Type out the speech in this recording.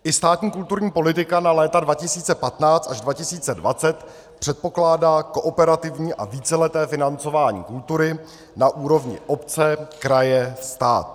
I státní kulturní politika na léta 2015 až 2020 předpokládá kooperativní a víceleté financování kultury na úrovni obce - kraje - stát.